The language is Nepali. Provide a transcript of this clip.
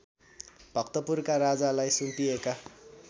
भक्तपुरका राजालाई सुम्पिएका